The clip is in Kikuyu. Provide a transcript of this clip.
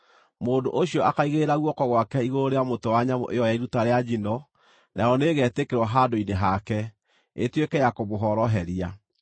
Mũndũ ũcio akaigĩrĩra guoko gwake igũrũ rĩa mũtwe wa nyamũ ĩyo ya iruta rĩa njino, nayo nĩĩgetĩkĩrwo handũ-inĩ hake, ĩtuĩke ya kũmũhoroheria.